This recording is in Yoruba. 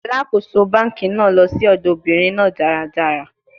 Alakoso banki naa lọ si ọdọ obinrin naa daradara